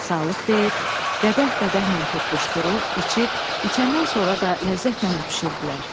Sağlıq deyir, qədəh qədəhlə toqquşdurur, içir, içəndən sonra da ləzzətlə öpüşürdülər.